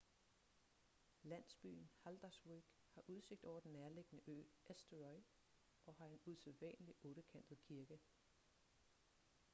landsbyen haldarsvík har udsigt over den nærliggende ø eysturoy og har en usædvanlig ottekantet kirke